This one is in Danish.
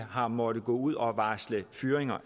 har måttet gå ud og varsle fyring